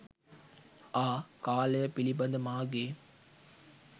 ආ කාලය පිළිබඳ මාගේ